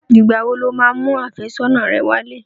Ìgbà wo lo máa mú àfẹ́sọ́nà rẹ wálé?